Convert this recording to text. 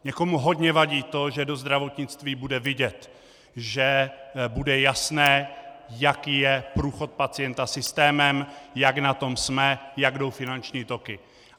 Někomu hodně vadí to, že do zdravotnictví bude vidět, že bude jasné, jaký je průchod pacienta systémem, jak na tom jsme, jak jdou finanční toky.